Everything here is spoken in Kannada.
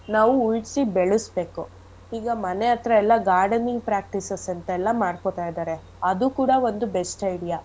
ನಾವೂ ಉಳ್ಸಿ ಬೆಳಸ್ಬೇಕು ಈಗ ಮನೆ ಹತ್ರ ಎಲ್ಲಾ gardening practices ಅಂತೆಲ್ಲ ಮಾಡ್ಕೊತಾ ಇದಾರೆ ಅದು ಕೂಡ ಒಂದು best idea .